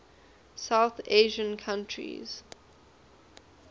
south asian countries